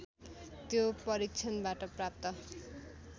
त्यो परीक्षणबाट प्राप्त